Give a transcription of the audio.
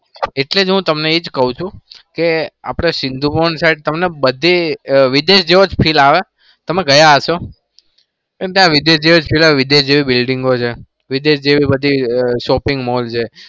એટલે જ હું તમને એ જ કું છુ આપણા સિંધુ ભવન સાહેબ તમને બધી વિદેશ જેવો જ feel આવે તમે ગયા હશો કેમ કે વિદેશ જેવી buildingo છે વિદેશ જેવી બધી shopping mall છે.